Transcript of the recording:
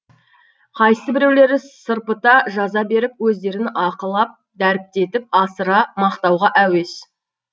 қайсыбіреулері сырпыта жаза беріп өздерін ақылап дәріптетіп асыра мақтатуға әуес